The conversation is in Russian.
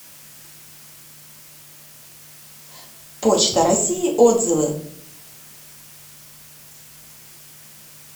почта россии отзывы